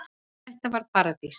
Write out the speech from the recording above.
Þetta var paradís.